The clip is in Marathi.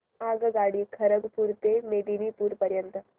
आगगाडी खरगपुर ते मेदिनीपुर पर्यंत